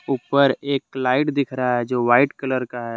ऊपर एक लाइट दिख रहा है जो व्हाइट कलर का है।